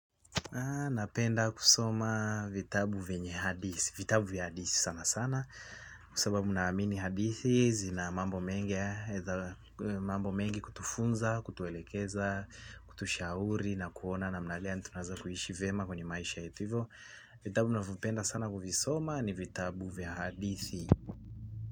Napenda kusoma vitabu vyenye hadithi, vitabu vya hadithi sana sana kwa sababu ninaamini hadithi zina mambo mengi kutufunza, kutuelekeza, kutushauri na kuona namna gani tunaweza kuishi vyema kwenye maisha yetu hivyo, vitabu ninavyopenda sana kuvisoma ni vitabu vya hadithi.